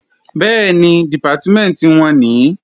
Bẹ́ẹ̀ni, Dìpátímẹ̀ntì wọn nìí